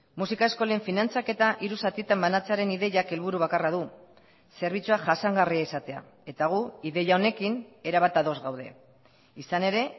musika eskolen finantzaketa hiru zatitan banatzearen ideiak helburu bakarra du zerbitzua jasangarria izatea eta gu ideia honekin erabat ados gaude izan ere